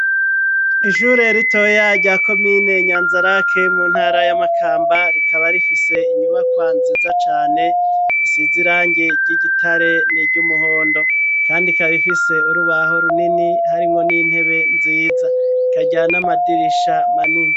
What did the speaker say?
Ishure ritoya rya komine nyanzarake mu ntara ya makamba rikaba rifise inyubakwa nziza cane isize irangi ry'igitare niry'umuhondo ,kandi ikaba ifise urubaho runini harimwo n'intebe nziza ikagira n'amadirisha manini.